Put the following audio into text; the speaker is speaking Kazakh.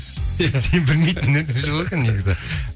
сен білмейтін нәрсе жоқ екен негізі